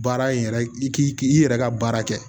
Baara in yɛrɛ i k'i yɛrɛ ka baara kɛ